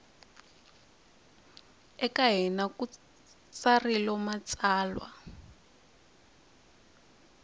eka hina ku tsarilo matsalwa